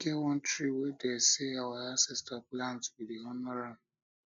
e get one tree wey dem sey our ancestors plant we dey honour am